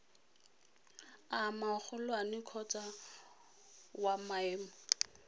a magolwane kgotsa wa maemo